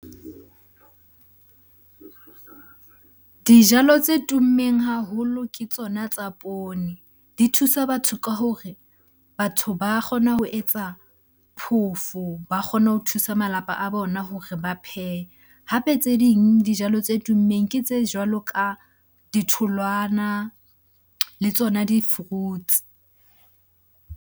Dijalo tse tummeng haholo ke tsona tsa poone. Di thusa batho ka hore batho ba kgona ho etsa phoofo ba kgone ho thusa malapa a bona hore ba phehe. Hape tse ding dijalo tse tummeng ke tse jwalo ka ditholwana, le tsona di-fruits.